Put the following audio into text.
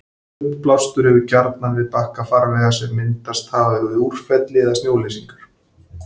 Uppblástur hefst gjarnan við bakka farvega sem myndast hafa við úrfelli eða snjóleysingar.